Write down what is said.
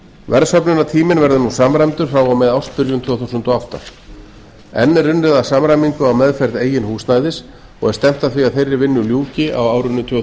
verðsöfnunartíminn verður nú samræmdur frá og með ársbyrjun tvö þúsund og átta enn er unnið að samræmingu á meðferð eigin húsnæðis og er stefnt að því að þeirri vinnu ljúki á árinu tvö